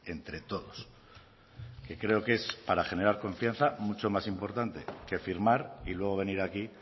entre todos que creo que es para generar confianza mucho más importante que firmar y luego venir aquí